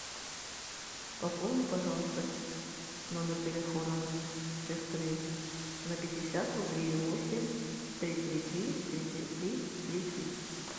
пополни пожалуйста номер телефона сестры на пятьдесят рублей восемь три три три три три три три три